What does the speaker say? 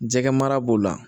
Jɛgɛ mara b'o la